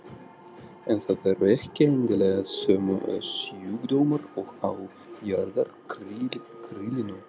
En það eru ekki endilega sömu sjúkdómar og á jarðarkrílinu.